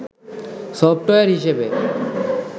software হিসেবে